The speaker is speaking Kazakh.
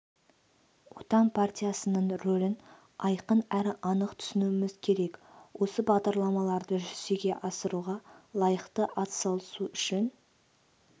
отан партиясының рөлін айқын әрі анық түсінуіміз керек осы бағдарламаларды жүзеге асыруға лайықты атсалысу үшін